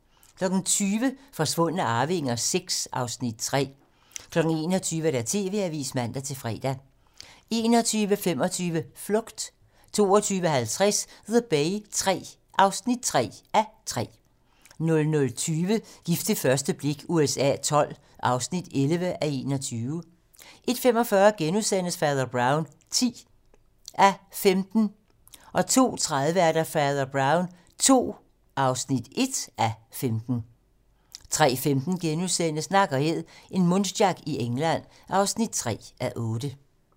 20:00: Forsvundne arvinger VI (Afs. 3) 21:00: TV-Avisen (man-fre) 21:25: Flugt 22:50: The Bay III (3:3) 00:20: Gift ved første blik USA XII (11:21) 01:45: Fader Brown (10:15)* 02:30: Fader Brown II (1:15)* 03:15: Nak & Æd - en muntjac i England (3:8)*